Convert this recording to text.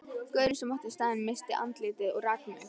Gaurinn sem átti staðinn missti andlitið og rak mig.